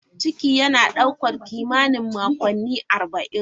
Ciki yana ɗaukar kimanin makonni arba'in.